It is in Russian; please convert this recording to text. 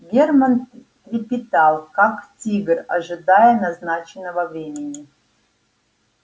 германн трепетал как тигр ожидая назначенного времени